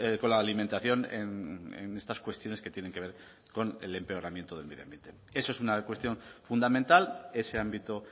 con la alimentación en estas cuestiones que tienen que ver con el empeoramiento del medio ambiente eso es una cuestión fundamental ese ámbito